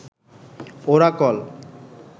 Oracle